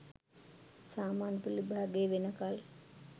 සාමාන්‍ය පෙළ විභාගය වෙනකල්